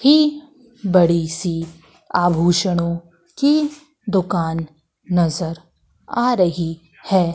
ही बड़ी सी आभूषणों की दुकान नजर आ रही है।